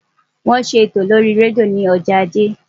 Wọ́n ṣe ètò lórí rédíò ní ọjọ́ ajé.